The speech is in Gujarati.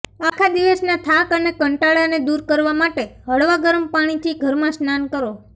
આખા દિવસના થાક અને કંટાળાને દૂર કરવા માટે હળવા ગરમ પાણીથી ઘરમાં સ્નાન કરો